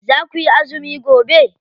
Za kuyi azumi gobe?